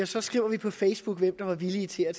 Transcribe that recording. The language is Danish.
så skriver vi på facebook hvem der er villig til at